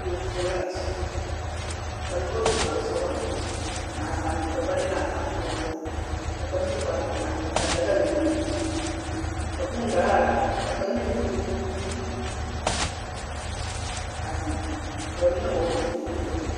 Kuori zie laa kyɛ ka nobɔ su kparresɔglɔ naasaaldɔbɔ ne naasaalpɔgbɔ ka kaŋ su kparrepelaa ka daga meŋ beŋ a kuu daga la ka kaŋ meŋ gbi dumo a zeŋ ka ba mime hɔɔl zupile ookee.